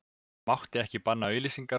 Mátti ekki banna auglýsingar